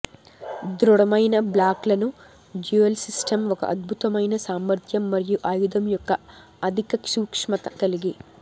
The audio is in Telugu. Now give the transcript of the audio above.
దృఢమైన బ్లాక్లను డ్యూయెల్ సిస్టమ్ ఒక అద్భుతమైన సామర్థ్యం మరియు ఆయుధం యొక్క అధిక సూక్ష్మత కలిగి